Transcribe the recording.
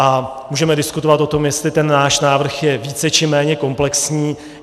A můžeme diskutovat o tom, jestli ten náš návrh je více či méně komplexní.